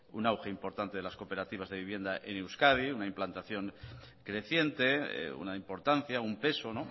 un auge importante de las cooperativas de vivienda en euskadi una implantación creciente una importancia un peso